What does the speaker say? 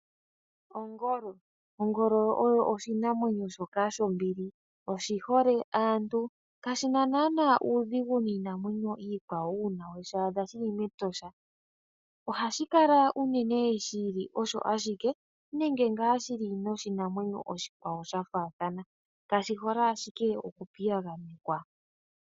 Ongolo , ongolo oshinamwenyo shoka shombili. Oshihole aantu kashina naana uudhigu miinamwenyo yikwawo , uuna oweshi adha shili metosha. Ohashi kala unene shili osho ashike nenge ngaa shili noshinamwenyo oshikwawo sha thaathana. kashihole ashike oku piyaganekwa.